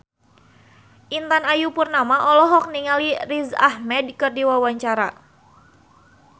Intan Ayu Purnama olohok ningali Riz Ahmed keur diwawancara